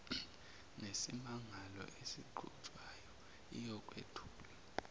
nesimangalo esiqhutshwayo iyokwethulwa